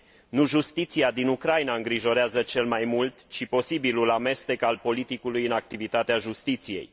Nu justiția din Ucraina îngrijorează cel mai mult, ci posibilul amestec al politicului în activitatea justiției.